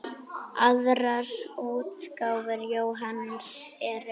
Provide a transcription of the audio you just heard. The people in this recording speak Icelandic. Aðrar útgáfur Jóhanns eru